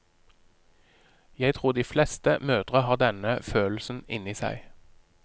Jeg tror de fleste mødre har denne følelsen inni seg.